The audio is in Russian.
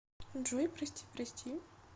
джой прости прости